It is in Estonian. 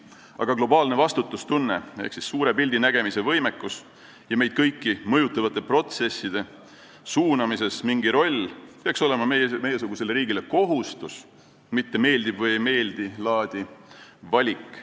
Aga globaalne vastutustunne ehk suure pildi nägemise võimekus ja mingi roll meid kõiki mõjutavate protsesside suunamises peaks olema meiesugusele riigile kohustus, mitte meeldib-või-ei-meeldi-laadi valik.